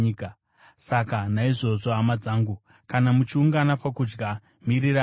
Saka naizvozvo, hama dzangu, kana muchiungana pakudya, miriranai.